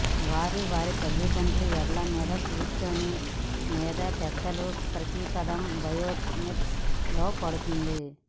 వారు వారి తల్లిదండ్రుల మెడ మీద కూర్చుని లేదా పెద్దలు ప్రతి పదం బయోనెట్స్ లో పడుతుంది